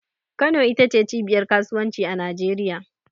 Kano ita ce cibiyar Kasuwanci a Najeriya.